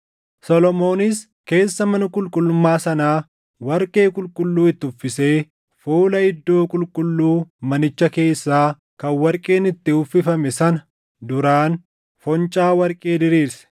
Solomoonis keessa mana qulqullummaa sanaa warqee qulqulluu itti uffisee fuula iddoo qulqulluu manicha keessaa kan warqeen itti uffifame sana duraan foncaa warqee diriirse.